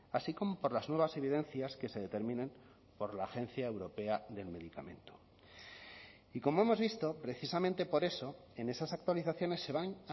así como por las nuevas evidencias que se determinen por la agencia europea del medicamento y como hemos visto precisamente por eso en esas actualizaciones se van